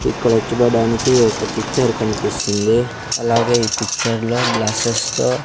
ఇక్కడ చూడడానికి ఒక పిక్చర్ కనిపిస్తుంది అలాగే ఈ పిక్చర్ లో గ్లాసెస్ తో .